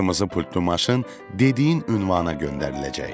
Qırmızı pultlu maşın dediyin ünvana göndəriləcək.